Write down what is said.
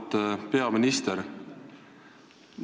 Auväärt peaminister!